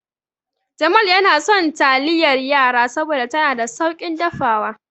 Jamal yana son taliyar yara saboda tana da sauƙin dafawa.